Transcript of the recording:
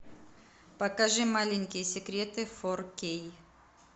покажи маленькие секреты фор кей